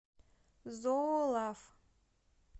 зоо лав